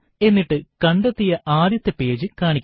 എന്നിട്ട് കണ്ടെത്തിയ ആദ്യത്തെ പേജ് കാണിക്കുക